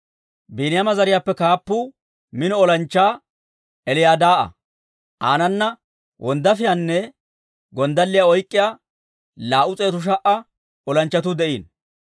Biiniyaama zariyaappe kaappuu mino olanchchaa Eliyadaa'a; aanana wonddaafiyaanne gonddalliyaa oyk'k'iyaa 200,000 olanchchatuu de'iino.